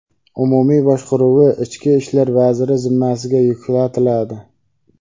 umumiy boshqaruvi ichki ishlar vaziri zimmasiga yuklatiladi.